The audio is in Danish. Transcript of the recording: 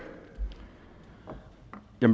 er